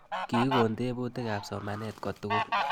Kikon tebutik ab somanet kotugul